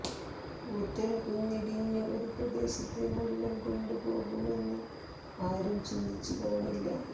കൂറ്റൻ കുന്നിടിഞ്ഞ് ഒരു പ്രദേശത്തെ മുഴുവൻ കൊണ്ടുപോകുമെന്ന് ആരും ചിന്തിച്ച് കാണില്ല